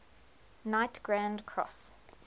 knight grand cross